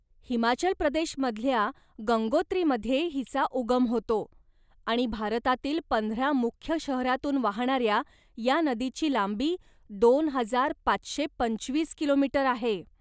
हिमाचल प्रदेशमधल्या गंगोत्रीमध्ये हिचा उगम होतो आणि भारतातील पंधरा मुख्य शहरातून वाहणाऱ्या या नदीची लांबी दोन हजार पाचशे पंचवीस किलो मीटर आहे.